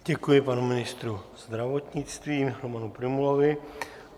Děkuji panu ministrovi zdravotnictví Romanu Prymulovi.